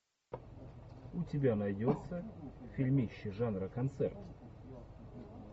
у тебя найдется фильмище жанра концерт